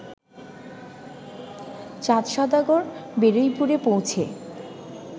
চাঁদসওদাগর বারুইপুরে পৌঁছে